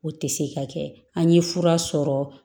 O tɛ se ka kɛ an ye fura sɔrɔ